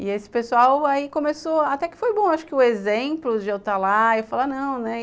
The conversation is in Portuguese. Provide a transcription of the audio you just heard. E esse pessoal aí começou, até que foi bom, acho que o exemplo de eu estar lá, eu falar, não, né?